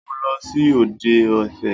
Mo lọ sí òde ẹ̀fẹ̀.